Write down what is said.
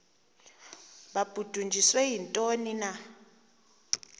babudunjiswe yintoni na